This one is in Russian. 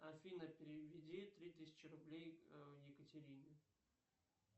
афина переведи три тысячи рублей екатерине